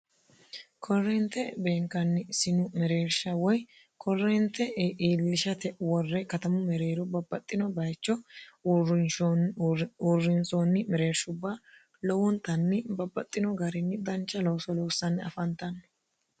korreente beenkanni sinu mereersha woy korreente iillishate worre katamu mereero babbaxxino bayicho uurrinsoonni mereershubba lowontanni babbaxxino garinni dancha looso loossanni afantanni